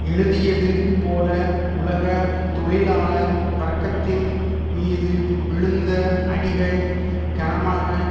எழுதியது போல உலக தொழிலாள வர்க்கத்தின் மீது விழுந்த அடிகள் கனமாக